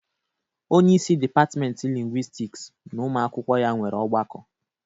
Onyeisi dịpatịmentị lingwistiks na ụmụ akwụkwọ ya nwere ọgbakọ.